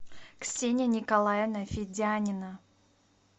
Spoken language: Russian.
ксения николаевна федянина